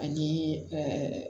Ani